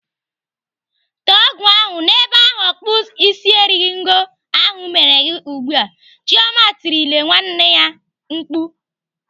Tee ọgwụ ahụ n'ebe ahụ ọkpụisieringo ahụ mere gị ugbu a! "Chioma tirile nwanne ya mkpu.